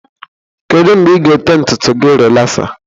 Kedu mgbe ị ga-ete ntutu gị rịlaxa?